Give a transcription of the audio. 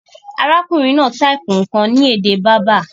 Arákùnrin náà type nkàn ni èdè Berber